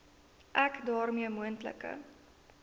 ek daarmee moontlike